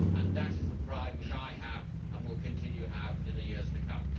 That is the pride which I have and will continue to have in the years to come.